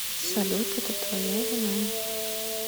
салют это твоя вина